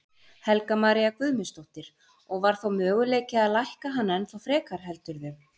Helga María Guðmundsdóttir: Og var þá möguleiki að lækka hann ennþá frekar heldurðu?